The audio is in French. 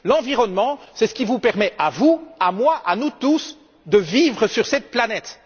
L'environnement est ce qui nous permet à vous, à moi et à nous tous de vivre sur cette planète.